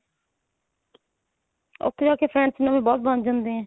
ਉੱਥੇ ਜਾ ਕੇ friends ਨਵੇਂ ਬਹੁਤ ਬਣ ਜਾਂਦੇ ਏ.